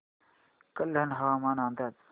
कल्याण हवामान अंदाज